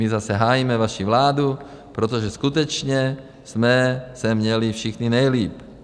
My zase hájíme vaši vládu, protože skutečně jsme se měli všichni nejlíp.